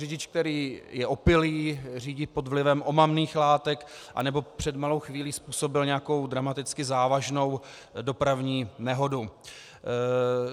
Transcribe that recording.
Řidič, který je opilý, řídí pod vlivem omamných látek nebo před malou chvílí způsobil nějakou dramaticky závažnou dopravní nehodu.